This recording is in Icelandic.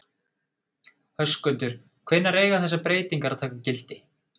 Höskuldur, hvenær eiga þessar breytingar að taka gildi?